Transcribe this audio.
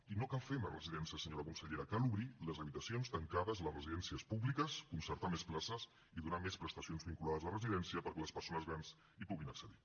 i no cal fer més residències senyora consellera cal obrir les habitacions tancades a les residències públiques concertar més places i donar més prestacions vinculades a la residència perquè les persones grans hi puguin accedir